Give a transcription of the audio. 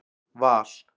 Val